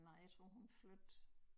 Nej jeg tror hun flyttede